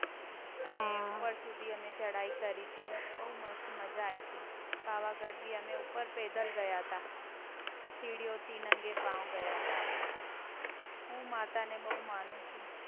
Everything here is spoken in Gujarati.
અને ઉપર સુધી અમે ચડાઈ કરી થી બહુ મસ્ત મજા આઈ થી પાવાગઢ હમે ઉપર પેદલ ગયા તા. સીડિઓ થી નંગે પાવ ગયા, તા. અમે. હું માતા ને બહુ માનું છું.